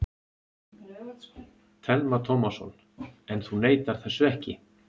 Telma Tómasson: En þú neitar þessu ekki?